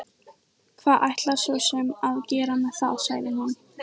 Hvað ætlarðu svo sem að gera með það, sagði hún.